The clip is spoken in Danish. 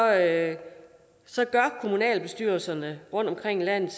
at se gør kommunalbestyrelserne rundtomkring i landet